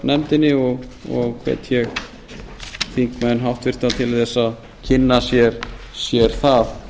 fjárlaganefndinni og hvet ég þingmenn háttvirtur til þess að kynna sér það